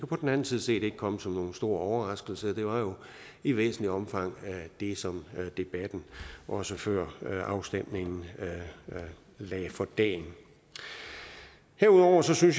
på den anden side set ikke komme som nogen stor overraskelse det var jo i væsentligt omfang det som debatten også før afstemningen lagde for dagen herudover synes jeg